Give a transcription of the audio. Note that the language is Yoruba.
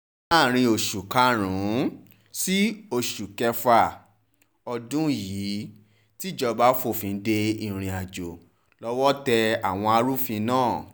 láàrin oṣù karùn-ún sí oṣù kẹfà ọdún yìí tíjọba fòfin de ìrìn-àjò lọ́wọ́ tẹ àwọn ẹrù òfin náà